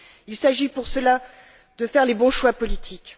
Il s'agit pour cela de faire les bons choix politiques.